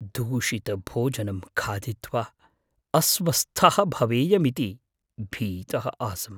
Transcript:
दूषितभोजनं खादित्वा अस्वस्थः भवेयमिति भीतः आसम्।